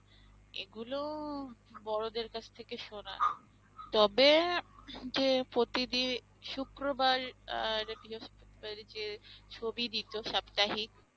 এগুলো বড়দের কাছ থেকে শোনা। তবে যে প্রতিদি~ শুক্রবার আহ যে ছবি দিত সাপ্তাহিক